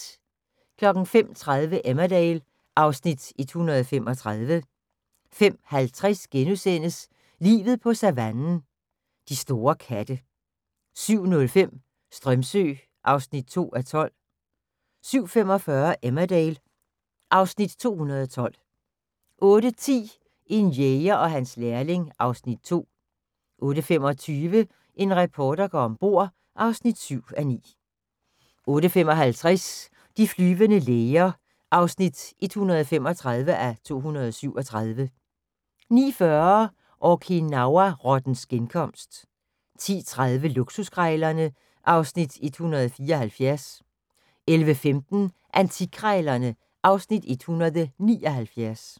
05:30: Emmerdale (Afs. 135) 05:50: Livet på savannen – de store katte * 07:05: Strömsö (2:12) 07:45: Emmerdale (Afs. 212) 08:10: En jæger og hans lærling (Afs. 2) 08:25: En reporter går om bord (7:9) 08:55: De flyvende læger (135:237) 09:40: Okinawa-rottens genkomst 10:30: Luksuskrejlerne (Afs. 174) 11:15: Antikkrejlerne (Afs. 179)